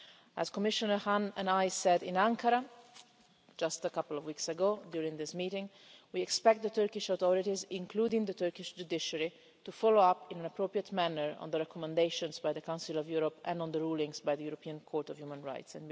As Commissioner Hahn and I said in Ankara, just a couple of weeks ago during this meeting, we expect the Turkish authorities, including the Turkish judiciary, to follow up in an appropriate manner on the recommendations by the Council of Europe and on the rulings by the European Court of Human Rights.